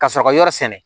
Ka sɔrɔ ka yɔrɔ sɛnɛ